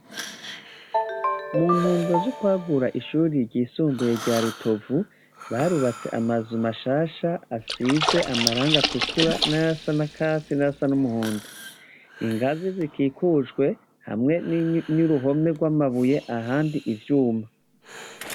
Muntumbero ryo kwagura ishure ryisumbuye rya rutovu barubatse amazu mashasha asize amarangi atukura nayasa nakatsi nayasa n' umuhondo ingazi zikikujwe hamwe n' uruhome rw' amabuye ahandi ivyuma.